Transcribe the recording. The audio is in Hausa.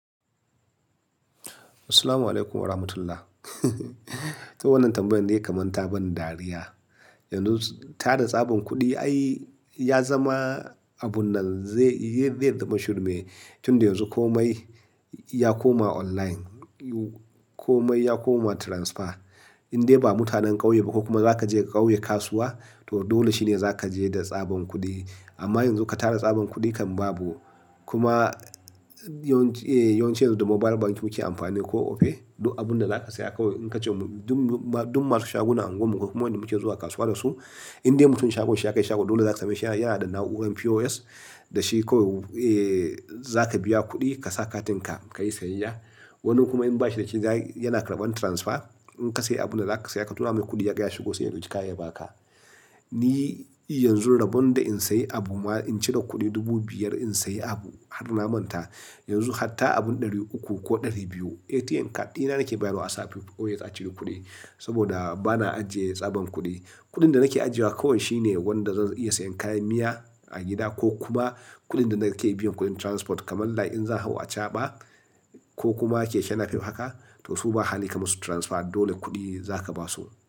Assalamu alaikum warahmatullah huhun kawai wannan tambayan ne kaman ta ban dariya. Yanzu tara tsaban kuɗi ai ya zama abun nan zai zai zai zama shirme tunda yanzu komai ya koma online, komai ya koma transfer in dai ba mutanen ƙauye ba ko kuma za ka je ka ƙauye kasuwa to dole shine za ka je da tsaban kuɗi. Amma yanzu ka tara tsaban kuɗi kan babu. Kuma yawanci eh yawanci yanzu da mobile bank muke amfani ko Opay duk abun da za ka saya kawai in ka ce dun dun masu shaguna a unguwan mu ko kuma waenda muke zuwa kasuwa da su, indai mutum shagon shi ya kai shago dole za ka sameshi yana da na'urar POS da shi kawai eh-- zaka biya ƙudi kasa katinka kayi sayayya wani kuma in ba shi dashi za yana karban transfer in ka siya abun da zaka saya ka tura mai kudi yaga ya shigo sai ya ɗauki kaya ya baka. Ni yanzu rabon da in sayi abu ma in cire kuɗi dubu biyar in sayi abu har na manta. Yanzu hatta abun ɗari uku ko ɗari biyu ATM card ɗina nake bayarwa a sa a POS a cire kuɗi. Saboda bana ajiye tsaban kuɗi. Kuɗin da nake ajiyewa kawai shine wanda zan iya siyan kayan miya a gida ko kuma kuɗin da nake biyan kuɗin transport. Kaman lai in zan hau acaba ko kuma keke napef haka to su ba hali ka musu transfer dole kuɗi za ka basu.